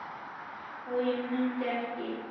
og ég mundi ekki.